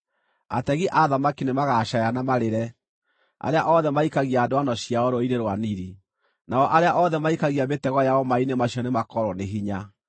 Ategi a thamaki nĩmagacaaya na marĩre, arĩa othe maikagia ndwano ciao Rũũĩ-inĩ rwa Nili; nao arĩa othe maikagia mĩtego yao maaĩ-inĩ macio nĩmakoorwo nĩ hinya.